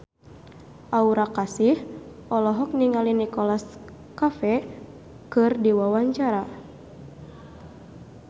Aura Kasih olohok ningali Nicholas Cafe keur diwawancara